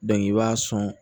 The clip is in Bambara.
i b'a sɔn